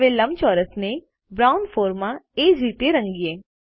હવે લંબચોરસને બ્રાઉન 4 માં એ જ રીતે રંગીએ